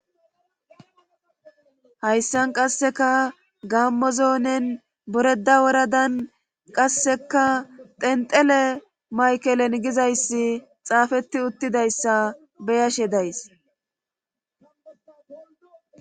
Hayssan qasseka gammozoonen boreda woradan qasseka tenxele maykelen gizayssi xaafeti uttidayssa beyashe days.